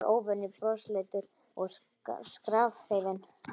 Hann var óvenju brosleitur og skrafhreifinn.